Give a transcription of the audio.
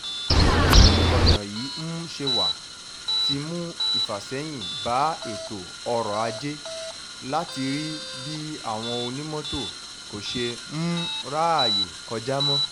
bí ọ̀nà yìí um ṣe wá ti mú ìfàsẹ́yìn bá ètò ọrọ̀-ajé látàrí bí àwọn onímọ́tò kò ṣe um ráàyè kọjá mọ́